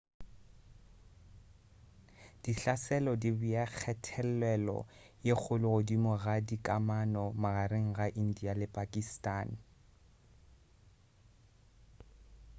dihlaselo di bea kgathelelo ye kgolo godimo ga dikamano magareng ga india le pakistan